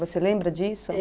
Você lembra disso?